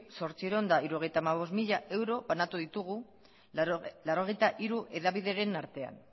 zortziehun eta hirurogeita hamabost mila euro banatu ditugu laurogeita hiru hedabideren artean